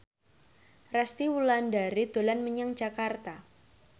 Resty Wulandari dolan menyang Jakarta